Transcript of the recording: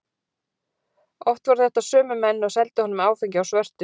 Oft voru þetta sömu menn og seldu honum áfengi á svörtu.